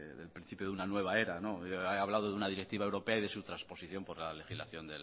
del principio de una nueva era no he hablado de una directiva europea y de su transposición por la legislación